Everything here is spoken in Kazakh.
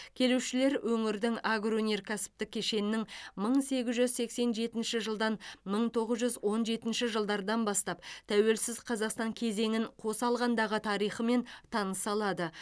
келушілер өңірдің агроөнеркәсіптік кешенінің мың сегіз жүз сексен жетінші жылдан мың тоғыз жүз он жетінші жылдардан бастап тәуелсіз қазақстан кезеңін қоса алғандағы тарихымен таныса алады